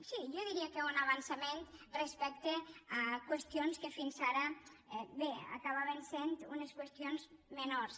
sí jo diria que un avançament respecte a qües·tions que fins ara bé acabaven sent unes qüestions menors